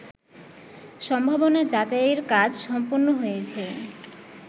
সম্ভাবনা যাচাইয়ের কাজ সম্পন্ন হয়েছে